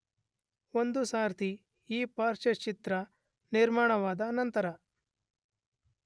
ಒಂದು ಸಾರ್ತಿ ಈ ಪಾರ್ಶ್ವಚಿತ್ರ ನಿರ್ಮಾಣವಾದ ನಂತರ